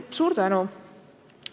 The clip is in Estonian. Suur tänu!